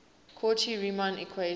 cauchy riemann equations